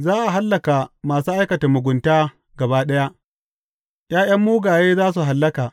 Za a hallaka masu aikata mugunta gaba ɗaya, ’ya’yan mugaye za su hallaka.